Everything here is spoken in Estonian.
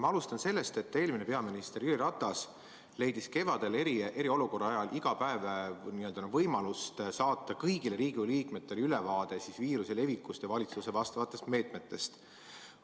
Ma alustan sellest, et eelmine peaminister Jüri Ratas leidis kevadel eriolukorra ajal iga päev võimaluse saata kõigile Riigikogu liikmetele ülevaate viiruse levikust ja valitsuse meetmetest.